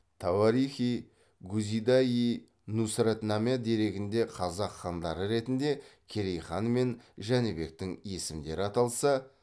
тауарих и гузида йи нусратнаме дерегінде қазақ хандары ретінде керей хан мен жәнібектің есімдері аталса